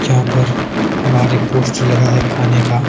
जहां पर भारी पोस्टर लगा है खाने का--